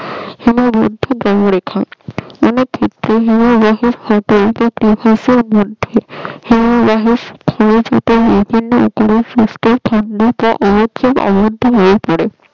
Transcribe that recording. অনেক ক্ষেত্রে হিমভহ